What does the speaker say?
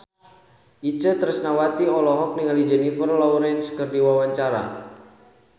Itje Tresnawati olohok ningali Jennifer Lawrence keur diwawancara